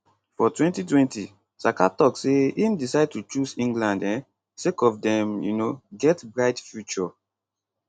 for 2020 saka tok say im decide to choose england um sake of dem um get bright future